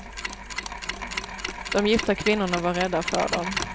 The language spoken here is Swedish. De gifta kvinnorna var rädda för dem.